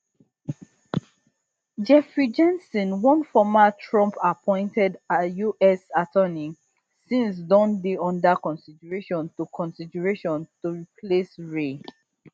jeffrey jensen one former trumpappointed us attorney since don dey under consideration to consideration to replace wray